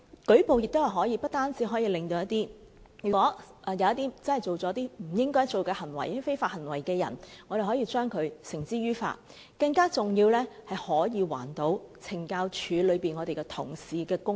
舉報不單可將那些真正做出不應做的非法行為的人繩之於法，更重要的是，可以還懲教署同事的公道。